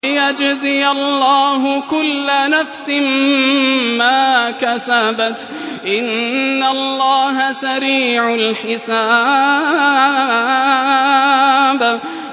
لِيَجْزِيَ اللَّهُ كُلَّ نَفْسٍ مَّا كَسَبَتْ ۚ إِنَّ اللَّهَ سَرِيعُ الْحِسَابِ